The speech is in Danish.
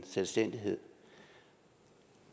selvstændighed